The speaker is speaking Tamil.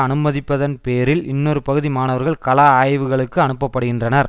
அனுமதிப்பதன் பேரில் இன்னொரு பகுதி மாணவர்கள் களா ஆய்வுகளுக்கு அனுப்பப்படுகின்றனர்